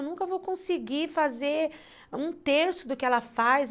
Eu nunca vou conseguir fazer um terço do que ela faz.